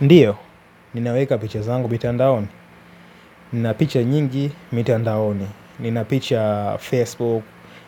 Ndiyo, ninaweka picha zangu mitandaoni. Nina picha nyingi mitandaoni. Nina picha Facebook,